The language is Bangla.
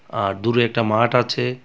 আর দূরে একটা মাঠ আছে.